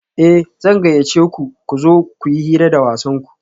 Eh zan gayyace ku da ku zo kuyi hira da wasanku